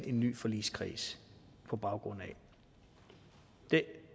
en ny forligskreds på baggrund af